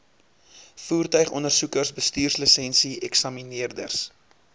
voertuigondersoekers bestuurslisensie eksamineerders